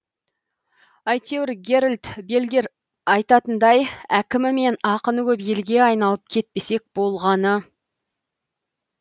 әйтеуір герольд бельгер айтатындай әкімі мен ақыны көп елге айналып кетпесек болғаны